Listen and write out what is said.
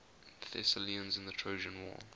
thessalians in the trojan war